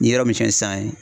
Ni yɔrɔ min sɛn san ye